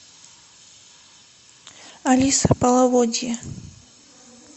алиса половодье